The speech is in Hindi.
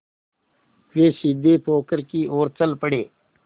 वे सीधे पोखर की ओर चल पड़े